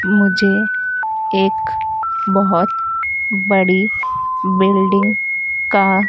मुझे एक बहुत बड़ी बिल्डिंग का--